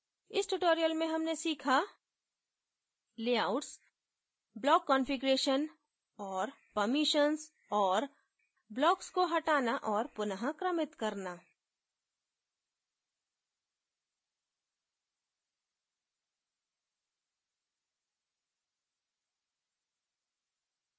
इस tutorial में हमने सीखा layouts block configuration और permissions और blocks को हटाना और पुन: क्रमित करना